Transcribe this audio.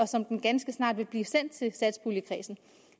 som den ganske snart vil blive sendt til satspuljekredsen